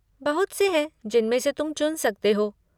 बहुत से हैं जिनमें से तुम चुन सकते हो।